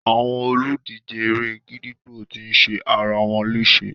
Àwọn olùdíje eré-gídígbò ti ṣe ara wọn léṣe.